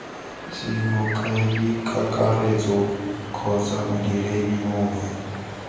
c mokaedikakaretso kgotsa modiredi mongwe